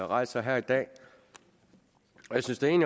rejser her i dag